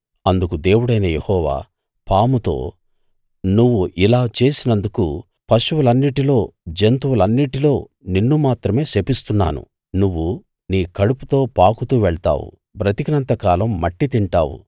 అందుకు దేవుడైన యెహోవా పాముతో నువ్వు ఇలా చేసినందుకు పశువులన్నిటిలో జంతువులన్నిటిలో నిన్ను మాత్రమే శపిస్తున్నాను నువ్వు నీ కడుపుతో పాకుతూ వెళ్తావు బ్రతికినంత కాలం మట్టి తింటావు